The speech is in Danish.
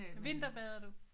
Vinterbader du?